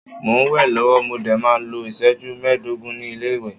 Mo n we lọwọ, mo dé máa n lo iṣẹju meedogun ni ile-iwe